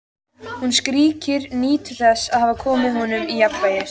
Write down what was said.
Hún skríkir, nýtur þess að hafa komið honum úr jafnvægi.